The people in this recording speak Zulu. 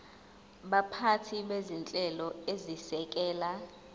baphathi bezinhlelo ezisekela